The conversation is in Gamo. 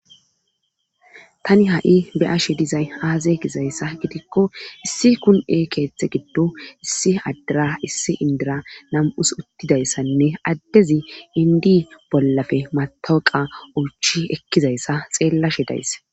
Tani ha7i be'ashe dizay haaza gizayssa gidikko issi kun7e keeththe giddo issi addira issi indira nam7us uttidayssanne addezi indi bollafe matoqa uuchi ekkizayssa xeellashe dayss.